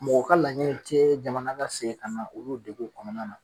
Mɔgɔ ka laɲini tɛ jamana ka segin ka na olu deguw kɔnɔna na